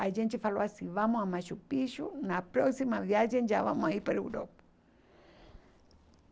A gente falou assim, vamos a Machu Picchu, na próxima viagem já vamos aí para a Europa.